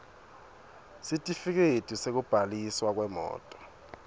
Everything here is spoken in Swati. sitifiketi sekubhaliswa kwemoti